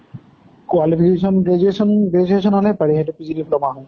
qualification graduation graduation হʼলে পাৰি, সেইটো PG diploma হয়।